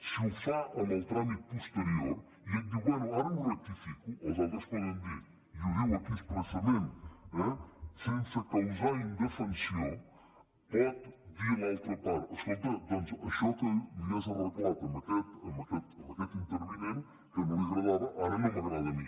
si ho fa en el tràmit posterior i ell diu bé ara ho rectifico els altres poden dir i ho diu aquí expressament eh sense causar indefensió pot dir l’altra part escolta doncs això que li has arreglat a aquest intervinent que no li agradava ara no m’agrada a mi